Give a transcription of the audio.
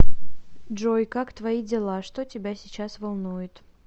джой как твои дела что тебя сейчас волнует